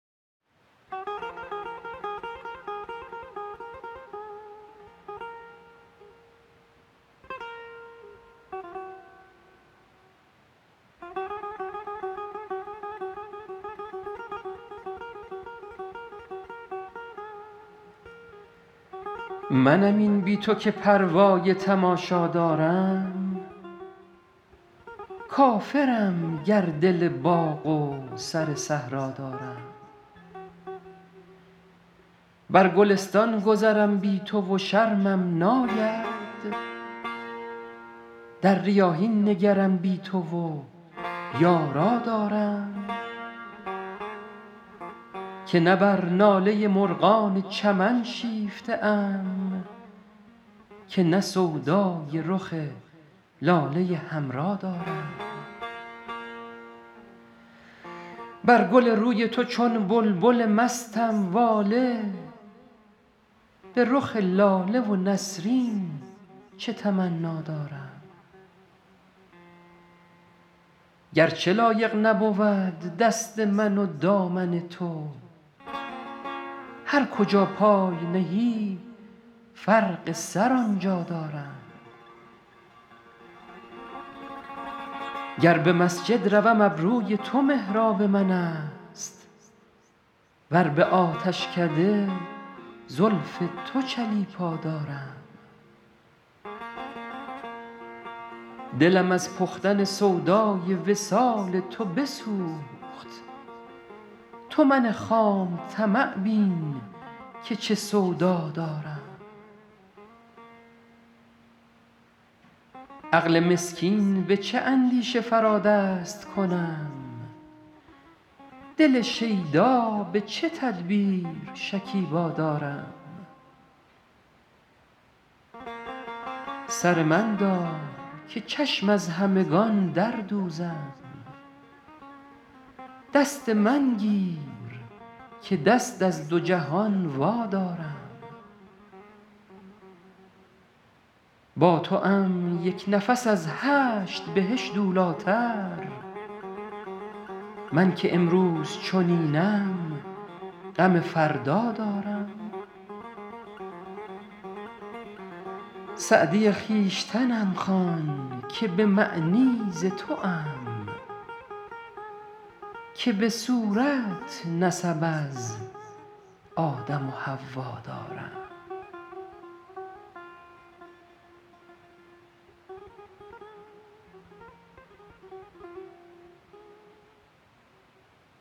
منم این بی تو که پروای تماشا دارم کافرم گر دل باغ و سر صحرا دارم بر گلستان گذرم بی تو و شرمم ناید در ریاحین نگرم بی تو و یارا دارم که نه بر ناله مرغان چمن شیفته ام که نه سودای رخ لاله حمرا دارم بر گل روی تو چون بلبل مستم واله به رخ لاله و نسرین چه تمنا دارم گر چه لایق نبود دست من و دامن تو هر کجا پای نهی فرق سر آن جا دارم گر به مسجد روم ابروی تو محراب من است ور به آتشکده زلف تو چلیپا دارم دلم از پختن سودای وصال تو بسوخت تو من خام طمع بین که چه سودا دارم عقل مسکین به چه اندیشه فرا دست کنم دل شیدا به چه تدبیر شکیبا دارم سر من دار که چشم از همگان در دوزم دست من گیر که دست از دو جهان وادارم با توام یک نفس از هشت بهشت اولی تر من که امروز چنینم غم فردا دارم سعدی خویشتنم خوان که به معنی ز توام که به صورت نسب از آدم و حوا دارم